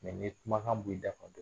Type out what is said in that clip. Mɛ ni ye kumakan b'i da ka don